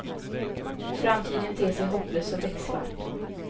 Framtiden ter sig hopplös och becksvart.